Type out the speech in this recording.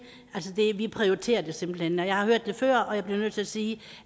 vi prioriterer det simpelt hen jeg har hørt før og jeg bliver nødt til at sige